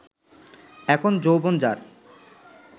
এখন যৌবন যার